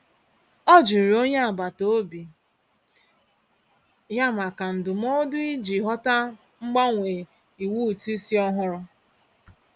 Ọ jụrụ onye agbataobi ya maka ndụmọdụ iji ghọta mgbanwe iwu ụtụisi ọhụrụ.